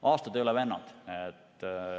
Aastad ei ole vennad.